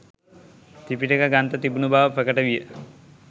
ත්‍රිපිටක ග්‍රන්ථ තිබුණු බව ප්‍රකට විය